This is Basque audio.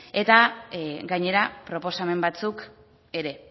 eta gainera proposamen batzuk ere